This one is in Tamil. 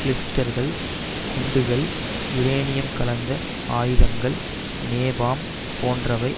கிளஸ்டர் குண்டுகள் யூரேனியம் கலந்த ஆயுதங்கள் நேபாம் போன்றவை